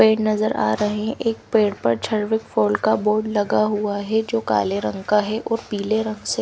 पेड़ नजर आ रहे हैं। एक पेड़ पर झर्विक फॉल का बोर्ड लगा हुआ है जो काले रंग का है और पीले रंग से--